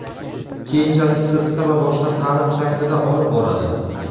keyinchalik sirtqi va boshqa ta’lim shaklida olib boradi;.